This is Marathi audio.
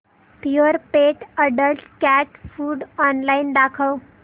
Purepet adult cat food online दाखव